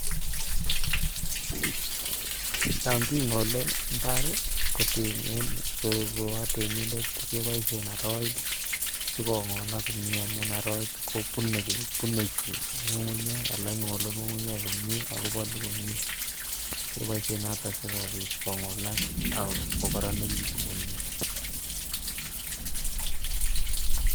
Yon kingole mbar ko oo temindet keboisien aroit asi kongolak komie amun aroit kobune chito ago ingole ngungunyek komie ako bolu komie kiboisien noton asikobit kongolak ak kororonitu ngungunyek